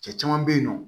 Cɛ caman bɛ yen nɔ